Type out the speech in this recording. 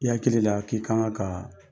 I hakili la k'i kan ka